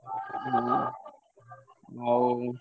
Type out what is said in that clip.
ହଁ ହଉ।